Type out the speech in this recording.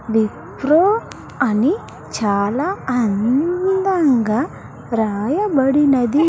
విప్రో అని చాలా అందంగా రాయబడినది.